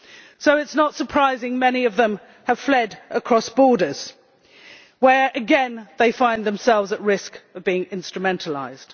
So it is not surprising that many of them have fled across the borders, where again they find themselves at risk of being instrumentalised.